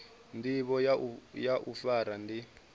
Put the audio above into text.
ndivho ya u fara ndi